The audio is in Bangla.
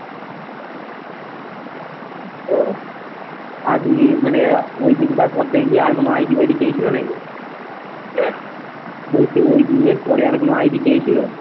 ও আজকেই মানে ঐদিনকার পর থেকে কি আর কোনো আইডি ফাইডি পেয়েছিলো নাকি? কে? বলছি ঐদিনের পরে আর কোনো আইডি চেয়েছিলো?